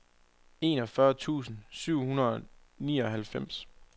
enogfyrre tusind syv hundrede og nioghalvfems